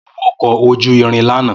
Mo wọ ọkọ̀ ojú irin lánàá